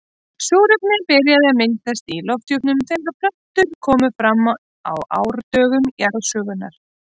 Súrefni byrjaði að myndast í lofthjúpnum þegar plöntur komu fram á árdögum jarðsögunnar.